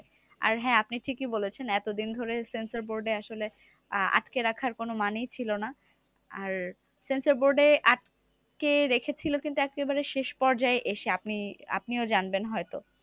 আর হ্যাঁ আপনি ঠিকই বলেছেন, এতদিন ধরে censor board এ আসলে আ~ আটকে রাখার কোনো মানেই ছিল না। আর censor board এ আটকে রেখেছিল কিন্তু একেবারে শেষ পর্যায়ে এসে আপনি আপনিও জানবেন হয়তো